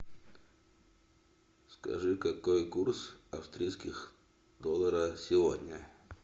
скажи какой курс австрийских доллара сегодня